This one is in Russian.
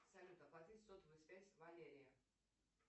салют оплатить сотовую связь валерии